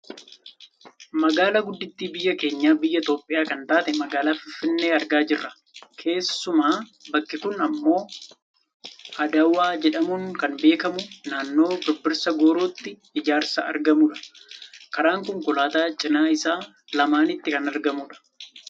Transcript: magaalaa guddittii biyya keenya biyya Itoopiyaa kan taate magaalaa Finfinnee argaa jirra. keessumaa bakki kun ammoo Adawaa jedhamuun kan beekkamu naannoo Birbirsa Goorootti ijaarsa argamudha. karaan konkolaataa cinaa isaa lamaanitti kan argamudha.